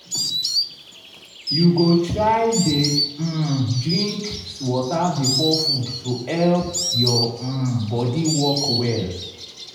you go try dey um drink water before food to help your um body work well.